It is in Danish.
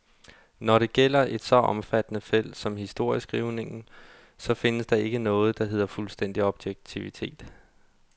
Når det gælder et så omfattende felt som historieskrivningen, så findes der ikke noget, der hedder fuldstændig objektivitet.